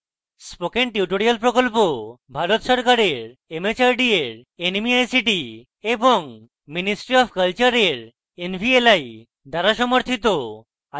spoken tutorial project ভারত সরকারের mhrd এর nmeict এবং ministry অফ কলচারের nvli দ্বারা সমর্থিত